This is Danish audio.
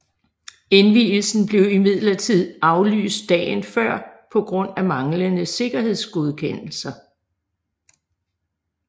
Indvielsen blev imidlertid aflyst dagen før på grund af manglende sikkerhedsgodkendelser